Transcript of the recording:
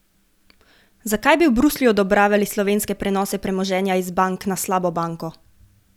Zakaj bi v Bruslju odobravali slovenske prenose premoženja iz bank na slabo banko?